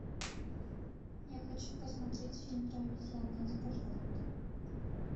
я хочу посмотреть фильм про обезьян найди пожалуйста